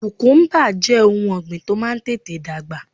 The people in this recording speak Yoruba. Kùkúmbà jẹ́ ohun ọ̀gbìn tó máa ń tètè dàgbà